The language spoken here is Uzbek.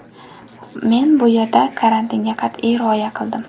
Men bu yerda karantinga qat’iy rioya qildim.